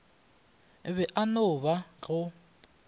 be e no ba go